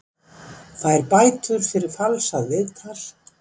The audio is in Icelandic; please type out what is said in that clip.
Fær bætur fyrir falsað viðtal